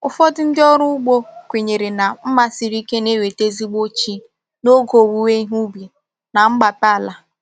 Ụfọdụ ndị ọrụ ugbo kwenyere na mma siri ike na-eweta ezigbo chi n'oge owuwe ihe ubi na mgbape ala.